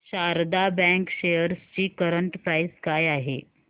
Sharda bank shares ची current price काय आहे